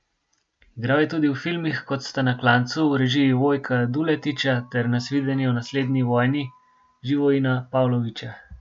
Igral je tudi v filmih, kot sta Na klancu v režiji Vojka Duletiča ter Nasvidenje v naslednji vojni Živojina Pavlovića.